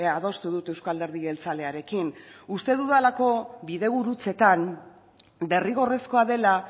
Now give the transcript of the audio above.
adostu dut euzko alderdi jeltzalearekin uste dudalako bidegurutzetan derrigorrezkoa dela